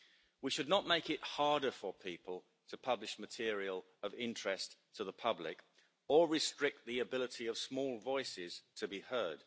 We should not make it harder for people to publish material of interest to the public or restrict the ability of small voices to be heard.